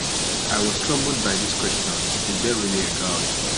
I was troubled by these questions, Is there really a God?